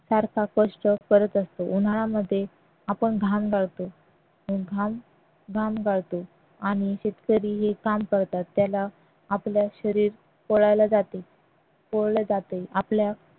फार फार कष्ट करत असतो उन्हाळ्यामध्ये आपण घाम गाळतो घाम गाळतो आणि शेतकरी हे काम करतात त्याला आपले शरीर जाते आपला